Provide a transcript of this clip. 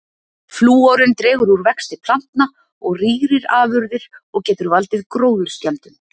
Flúorinn dregur úr vexti plantna og rýrir afurðir og getur valdið gróðurskemmdum.